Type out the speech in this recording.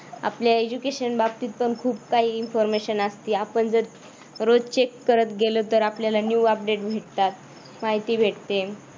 आपल्या education बाबतीत पण खूप काही information असती आपण जर रोज चेक करत गेल तर आपल्याला new update भेटतात. माहिती भेटते.